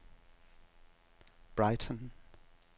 Brighton